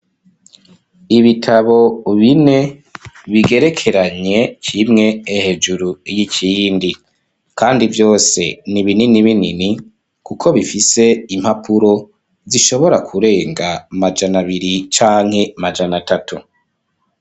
Ibitabo bine bigerekeranye kimwe hejuru y'ikindi, kandi vyose ni binini binini kuko bifise impapuro zishobora kurenga amajana abiri canke amajana atatu.